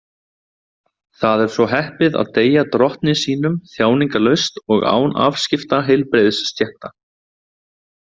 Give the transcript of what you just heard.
Það er svo heppið að deyja Drottni sínum þjáningalaust og án afskipta heilbrigðisstétta.